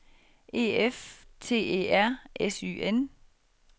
E F T E R S Y N